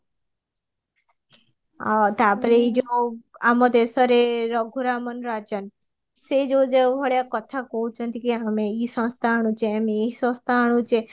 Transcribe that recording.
ଆଉ ତାପରେ ଏଇ ଯୋ ଆମ ଦେଶରେ ରଘୁ ରାମାନ ରାଜନ ସେଇ ଯୋଉ ଯୋ ଉ ଭଳିଆ କଥା କହୁଚନ୍ତି କି ଆମେ ସଂସ୍ଥା ଆଣୁଚେ ଆମେ ଏଇ ସଂସ୍ଥା ଆଣୁଚେ